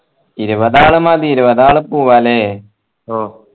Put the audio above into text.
ഇരുപതാൾ മതി ഇരുപതാൾ പോവാ അല്ലെ ഓ